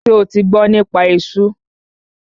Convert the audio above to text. Ṣo ti gbọ́ nípa esú?